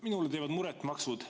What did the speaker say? Minule teevad muret maksud.